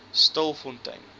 stilfontein